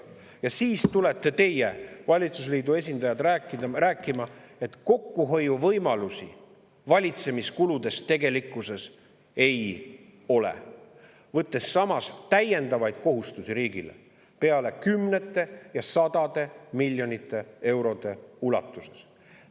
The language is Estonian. Ja siis tulete teie, valitsusliidu esindajad, rääkima, et kokkuhoiuvõimalusi valitsemiskuludes tegelikkuses ei ole, võttes samas täiendavaid kohustusi riigile kümnete ja sadade miljonite eurode ulatuses.